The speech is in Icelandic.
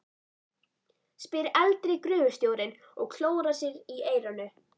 spyr eldri gröfustjórinn og klórar sér í eyranu.